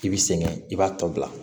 I bi sɛgɛn i b'a tɔ bila